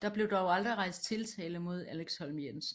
Der blev dog aldrig rejst tiltale mod Alex Holm Jensen